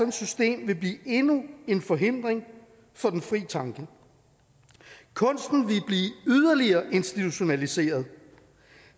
et system vil blive endnu en forhindring for den frie tanke kunsten vil blive yderligere institutionaliseret